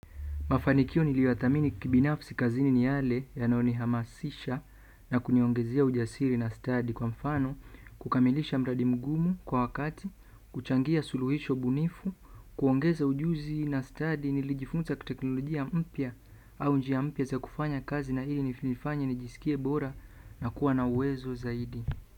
Mafanikio niliyoyathamini kibinafsi kazini ni yale yanayoni hamasisha na kuniongezea ujasiri na stadi kwa mfano kukamilisha mradi mgumu kwa wakati, kuchangia suluhisho bunifu, kuongeza ujuzi na stadi nilijifunza kiteknolojia mpya au njia mpya za kufanya kazi na hili hunifanya nijisikie bora na kuwa na uwezo zaidi.